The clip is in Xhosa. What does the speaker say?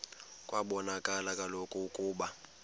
kwabonakala kaloku ukuba